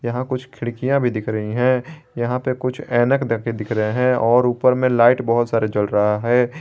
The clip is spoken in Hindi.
यहां कुछ खिड़कियां भी दिख रही है यहां पे कुछ ऐनक ढके दिख रहे हैं और ऊपर में लाइट बहोत सारे जल रहा है।